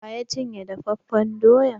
Waya cin ye dafafen doyan?